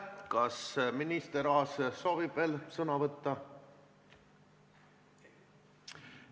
Kas minister Aas soovib veel sõna võtta?